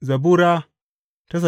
Zabura Sura